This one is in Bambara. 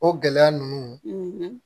O gɛlɛya ninnu